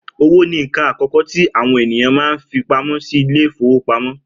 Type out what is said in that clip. Owó ni nǹkan àkọ́kọ́ tí àwọn ènìyàn máa ń fi pamọ́ sí ilé ìfowópamọ́